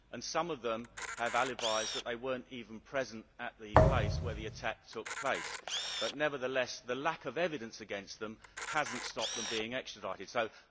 Some of them have alibis showing that they were not even present at the place where the attack took place. Nevertheless the lack of evidence against them has not stopped them being extradited.